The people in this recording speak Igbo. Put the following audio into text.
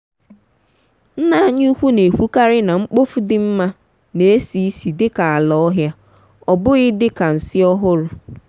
nna anyị ukwu na-ekwukari na mkpofu di mma na-esi isi di ka ala ohia. ọ bụghị dị ka nsị ọhụrụ.